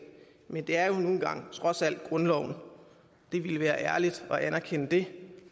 men det er nu engang trods alt grundloven det ville være ærligt at anerkende det